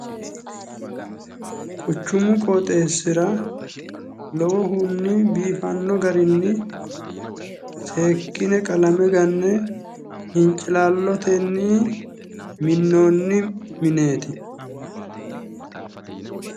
Quchchumu qooxeesiira lowohuni biifanno garinni seekkine qalamme ganne hincilaallotenni minnoonni mineeti.